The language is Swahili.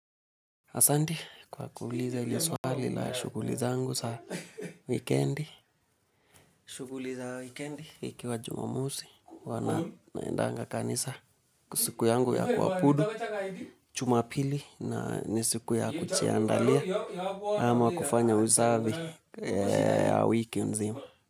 Asante, kwa kuuliza ile swali la shuguli zangu za weekendi, shughuli za wikendi ikiwa jumamosi huwa naendanga kanisa ni siku yangu ya kuabudu juma pili na ni siku ya kujiandalia ama kufanya usafi ya wiki nzima.